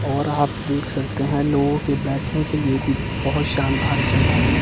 और आप देख सकते हैं लोगों के बैठने के लिए भी बहोत शानदार जगह है।